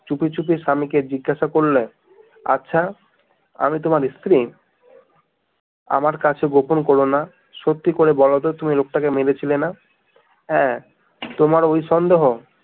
চুপি চুপি স্বামী কে জিজ্ঞেসে করলে আচ্ছা আমি তোমার স্ত্রী আমার কাছে গোপন করো না সত্যি করে বলো তো তুমি লোকটাকে মেরেছিলে না হ্যা তোমার ওই সন্দেহ